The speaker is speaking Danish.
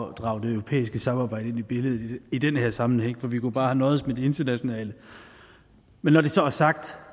at drage det europæiske samarbejde ind i billedet i den her sammenhæng for vi kunne bare have nøjedes med det internationale men når det så er sagt